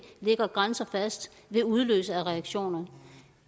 ligger grænser fast vil udløse af reaktioner